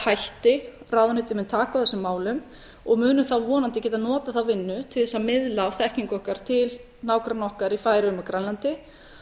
hætti ráðuneytið mun taka á þessum málum og munum þá vonandi geta notað þá vinnu til þess að miðla af þekkingu okkar til nágranna okkar í færeyjum og grænlandi